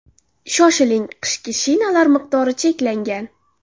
Shoshiling, qishki shinalar miqdori cheklangan!